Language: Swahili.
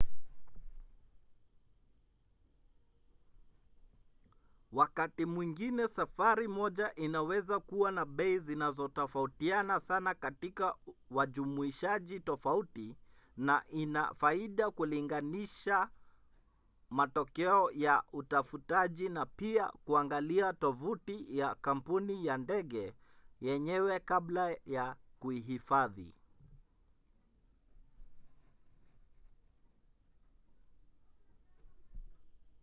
wakati mwingine safari moja inaweza kuwa na bei zinazotofautiana sana katika wajumuishaji tofauti na ina faida kulinganisha matokeo ya utafutaji na pia kuangalia tovuti ya kampuni ya ndege yenyewe kabla ya kuhifadhi